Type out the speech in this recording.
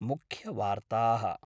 मुख्यवार्ताः